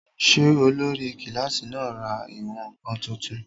Ṣé olórí kílásì náà ra ìwọ̀n-ǹkan tuntun?